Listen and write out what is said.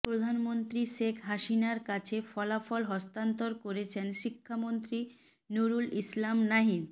প্রধানমন্ত্রী শেখ হাসিনার কাছে ফলাফল হস্তান্তর করছেন শিক্ষামন্ত্রী নুরুল ইসলাম নাহিদ